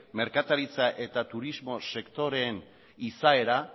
merkataritza eta turismo sektoreen izaera